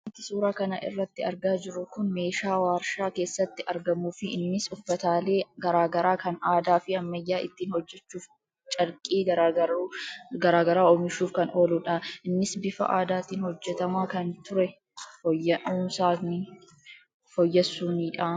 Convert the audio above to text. Wanti suuraa kana irratti argaa jiru kun meeshaa waarshaa keessatti argamuufi innis uffataalee garaa garaa kan aadaa fi ammayyaa ittiin hojjechuuf carqii gargaaru oomishuuf kan ooludha. Innis bifa aadaatiin hojjetamaa kan ture fooyyessuunidha.